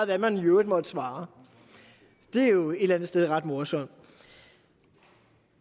hvad man i øvrigt måtte svare det er jo et eller andet sted ret morsomt